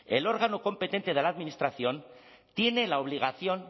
el órgano competente de la administración tiene la obligación